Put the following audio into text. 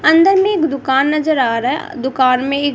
अंदर में एक दुकान नजर आ रहा है दुकान में ही--